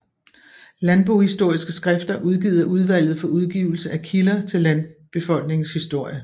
Landbohistoriske skrifter udgivet af Udvalget for Udgivelse af Kilder til Landbefolkningens Historie